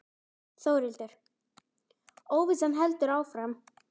Þórhildur: Óvissan heldur áfram?